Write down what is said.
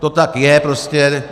To tak je prostě.